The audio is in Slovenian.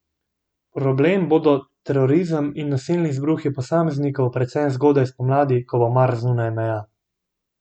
Problem bodo terorizem in nasilni izbruhi posameznikov, predvsem zgodaj spomladi, ko bo Mars zunaj meja.